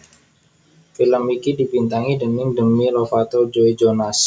Film iki dibintangi déning Demi Lovato Joe Jonas